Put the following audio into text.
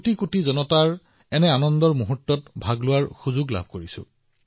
এই ৭ বছৰত মই আপোনালোকৰ সৈতে লক্ষাধিক সুখত যোগদান কৰিছো